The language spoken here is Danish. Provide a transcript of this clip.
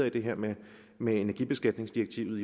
i det her med med energibeskatningsdirektivet